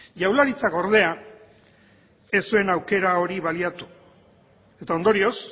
jaurlaritzak ordea ez zuen aukera hori baliatu eta ondorioz